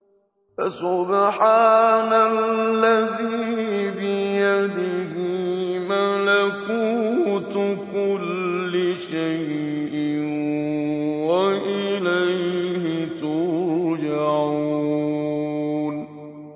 فَسُبْحَانَ الَّذِي بِيَدِهِ مَلَكُوتُ كُلِّ شَيْءٍ وَإِلَيْهِ تُرْجَعُونَ